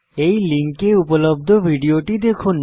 এই লিঙ্কে উপলব্ধ ভিডিওটি দেখুন